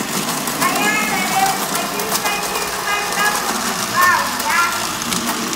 Ai haka ne kuwa kin san girman ɗan mutum ba wuya.